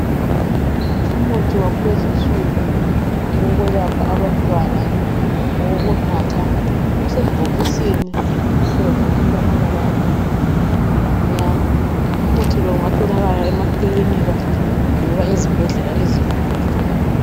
Umuthi wakulezi insuku owokwelapha abantwana owokunatha, usebhokisini elimhlophe elilamabala abomvu lamnyama, umuthi lo ungatholakala emakilinika loba ezibhedlela ezinkulu.